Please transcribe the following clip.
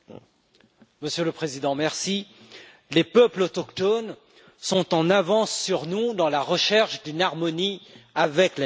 Monsieur le Président, les peuples autochtones sont en avance sur nous dans la recherche d'une harmonie avec la nature.